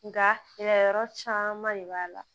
Nka gɛlɛyayɔrɔ caman de b'a la